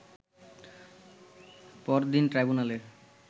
পরদিন ট্রাইব্যুনালে